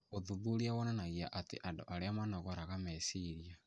Ũthuthuria wonanagia atĩ andũ arĩa manogoraraga meciria